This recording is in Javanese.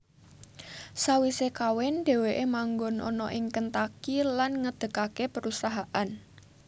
Sawise kawin dheweke manggon ana ing Kentucky lan ngedegake perusahaan